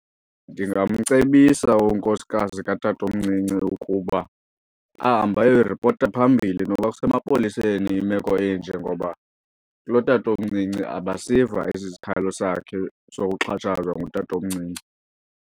Ndingamcebisa unkosikazi katatomncinci ukuba ahambe ayoyiripota phambili noba kusemapoliseni imeko enje ngoba kulotatomncinci abasiva esi sikhalo sakhe sokuxhatshazwa ngutatomncinci.